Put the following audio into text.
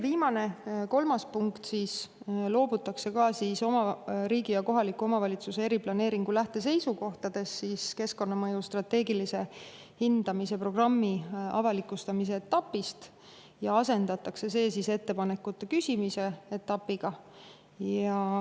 Viimases, kolmandas punktis loobutakse keskkonnamõju strateegilise hindamise programmi avalikustamise etapist riigi ja kohaliku omavalitsuse eriplaneeringu lähteseisukohtades ja asendatakse see ettepanekute küsimise etapiga.